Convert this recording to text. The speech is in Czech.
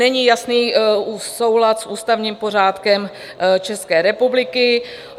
Není jasný soulad s ústavním pořádkem České republiky.